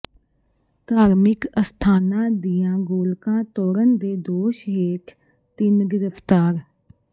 ਧਾਰਮਿਕ ਅਸਥਾਨਾਂ ਦੀਆਂ ਗੋਲਕਾਂ ਤੋੜਨ ਦੇ ਦੋਸ਼ ਹੇਠ ਤਿੰਨ ਗ੍ਰਿਫ਼ਤਾਰ